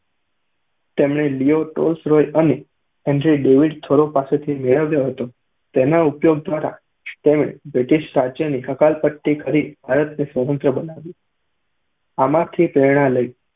તેમણે Leo Tolstoy અને Henry David Thoreau પાસેથી મેળવ્યો હતો, તેના ઉપયોગ દ્વારા તેમણે બ્રિટીશ રાજ્યની હકાલપટ્ટી કરી ભારતને સ્વતંત્ર બનાવ્યું. આમાંથી પ્રેરણા લઈ